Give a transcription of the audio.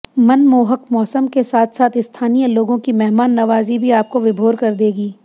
मनमोहक मौसम के साथ साथ स्थानीय लोगों की मेहमान नवाजी भी आपको विभोर कर देगी